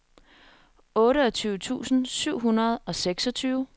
otteogtyve tusind syv hundrede og seksogtyve